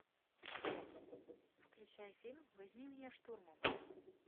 включай фильм возьми меня штурмом